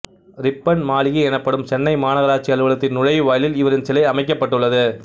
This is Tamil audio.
ரிப்பன் மாளிகை எனப்படும் சென்னை மாநகராட்சி அலுவலகத்தின் நுழைவாயிலில் இவரின் சிலை அமைக்கப்பட்டுள்ளது